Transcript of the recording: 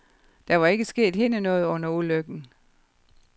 Der var ikke sket hende noget under ulykken.